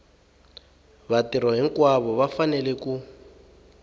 vatirhi hinkwavo va fanele ku